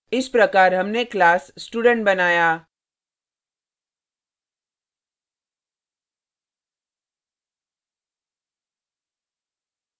इस प्रकार हमने class student बनाया